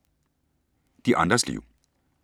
De andres liv